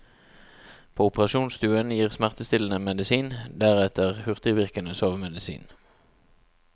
På operasjonsstuen gis smertestillende medisin, deretter hurtigvirkende sovemedisin.